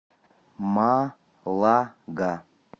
малага